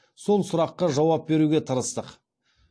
сол сұраққа жауап беруге тырыстық